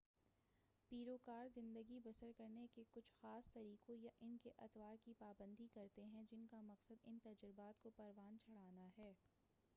پیروکار زندگی بسرنے کے کچھ خاص طریقوں یا ان اطوار کی پابندی کرتے ہیں جن کا مقصد ان تجربات کو پروان چڑھانا ہے